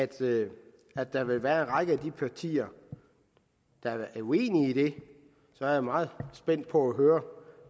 det at der vil være en række partier der er uenige i det er jeg meget spændt på at høre